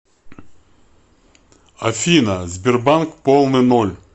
афина сбербанк полный ноль